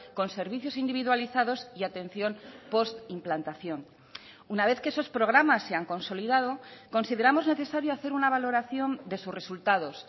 con servicios individualizados y atención postimplantación una vez que esos programas se han consolidado consideramos necesario hacer una valoración de sus resultados